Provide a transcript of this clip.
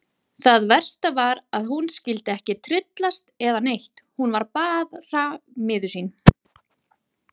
Það versta var að hún skyldi ekki tryllast eða neitt, hún var bara miður sín.